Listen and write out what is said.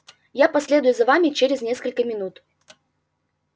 я последую за вами через несколько минут